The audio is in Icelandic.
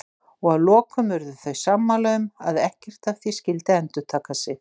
Og að lokum urðu þau sammála um að ekkert af því skyldi endurtaka sig.